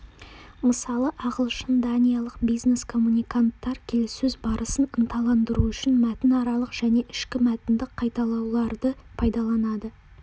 мысалы ағылшын-даниялық бизнес-коммуниканттар келіссөз барысын ынталандыру үшін мәтінаралық және ішкі мәтіндік қайталауларды пайдаланады